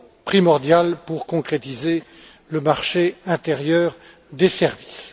primordiale pour concrétiser le marché intérieur des services.